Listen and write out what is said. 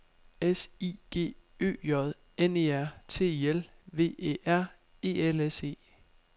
S I G Ø J N E R T I L V Æ R E L S E